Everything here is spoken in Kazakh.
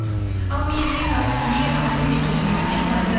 ал ал мейір алты кешірім өтінемін бұл